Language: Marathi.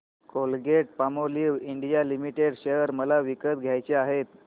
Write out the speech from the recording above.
कोलगेटपामोलिव्ह इंडिया लिमिटेड शेअर मला विकत घ्यायचे आहेत